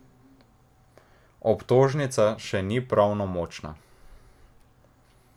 Obtožnica še ni pravnomočna.